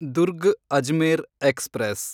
Durg Ajmer express